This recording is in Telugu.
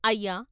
" అయ్యా!